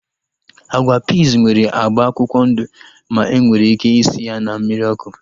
Agwa piiz nwere agba akwụkwọ ndụ ma enwere ike isi ya na mmiri ọkụ